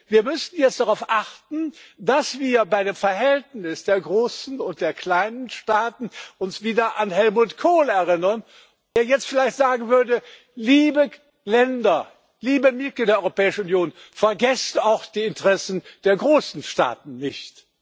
Wir müssen jetzt darauf achten, dass wir uns bei dem Verhältnis der großen und der kleinen Staaten wieder an Helmut Kohl erinnern, der jetzt vielleicht sagen würde Liebe Länder, liebe Mitglieder der Europäischen Union, vergesst auch die Interessen der großen Staaten nicht.